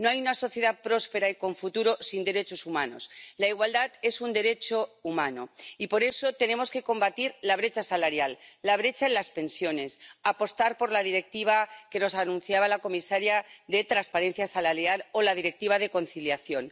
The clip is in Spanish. No hay una sociedad próspera y con futuro sin derechos humanos. La igualdad es un derecho humano y por eso tenemos que combatir la brecha salarial, la brecha en las pensiones, apostar por la Directiva que nos anunciaba la comisaria sobre transparencia salarial o la Directiva sobre conciliación.